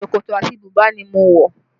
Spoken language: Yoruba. Ṣòkòtò àti bùbá ni mo wọ